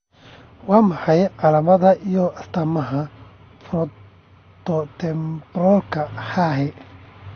Waa maxay calaamadaha iyo astaamaha 'Fronttotemporalka hahi.